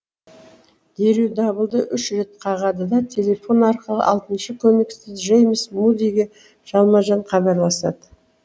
дереу дабылды үш рет қағады да телефон арқылы алтыншы көмекші джеймс мудиге жалма жан хабарласады